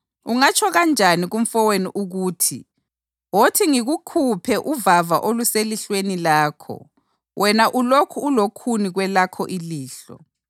Ungatsho kanjani kumfowenu ukuthi, ‘Wothi ngikukhuphe uvava oluselihlweni lakho,’ wena ulokhu ulokhuni kwelakho ilihlo?